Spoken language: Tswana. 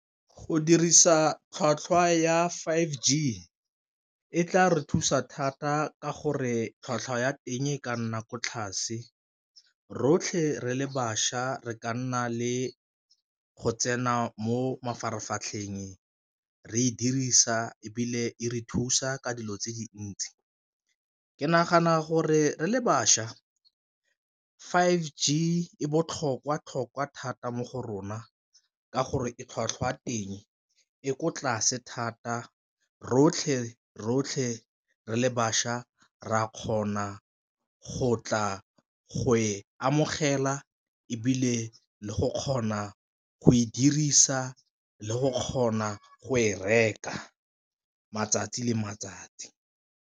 Go dirisa tlhwatlhwa ya five G e tla re thusa thata ka gore tlhwatlhwa ya teng e ka nna ko tlase, rotlhe re le bašwa re ka nna le go tsena mo mafaratlhatlheng re e dirisa ebile e re thusa ka dilo tse dintsi. Ke nagana gore re le bašwa five G e botlhokwa-tlhokwa thata mo go rona ka gore e tlhwatlhwa e ko tlase thata rotlhe-rotlhe re le bašwa re a kgona go tla go e amogela, ebile le go kgona go e dirisa le go kgona go e reka matsatsi le matsatsi.